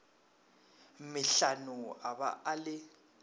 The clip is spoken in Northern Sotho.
metlhano a ba a le